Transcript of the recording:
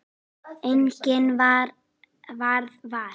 Enginn varð var.